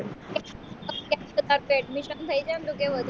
admission થઈ જાય ને તો